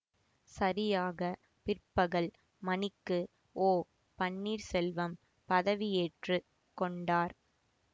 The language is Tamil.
சரியாக பிற்பகல் மணிக்கு ஓபன்னீர்செல்வம் பதவியேற்று கொண்டார்